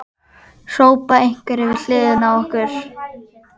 hrópa einhverjir við hliðina á okkur.